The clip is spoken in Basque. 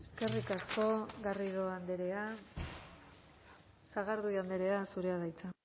eskerrik asko garrido andrea sagardui andrea zurea da hitza